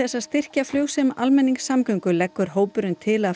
að styrkja flug sem almenningssamgöngur leggur hópurinn til að